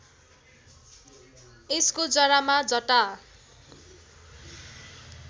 यसको जरामा जटा